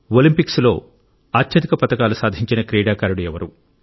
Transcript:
ఒలింపిక్స్లో అత్యధిక పతకాలు సాధించిన క్రీడాకారుడు ఎవరు